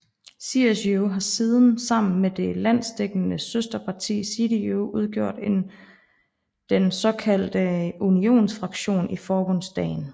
CSU har siden sammen med det landsdækkende søsterparti CDU udgjort den såkaldte unionsfraktion i Forbundsdagen